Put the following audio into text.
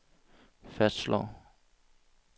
fastslår